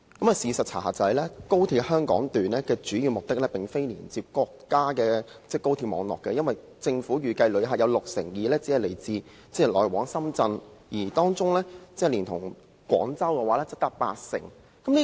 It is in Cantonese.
但是，事實的查核卻是，高鐵香港段的主要目的並非連接國家高鐵網絡，因為政府預計旅客中有六成二只是來往深圳，當中連同廣州旅客則達八成。